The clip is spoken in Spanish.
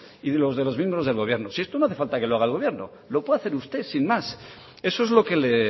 y de los de los miembros del gobierno si esto no hace falta que lo haga el gobierno lo puede hacer usted sin más eso es lo que le